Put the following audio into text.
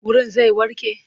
Wurin zai warke?